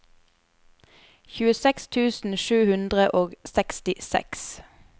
tjueseks tusen sju hundre og sekstiseks